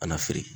A kana feere